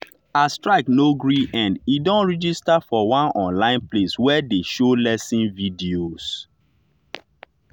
as strike no gree end e don register for one online place wey dey show lesson videos.